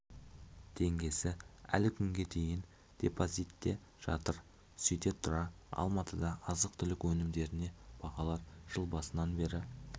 теңгесі әлі күнге дейін депозитте жатыр сөйте тұра алматыда азық-түлік өнімдеріне бағалар жыл басынан бері